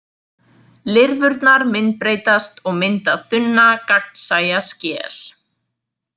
Lirfurnar myndbreytast og mynda þunna gagnsæja skel.